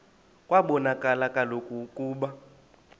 kwabonakala kaloku ukuba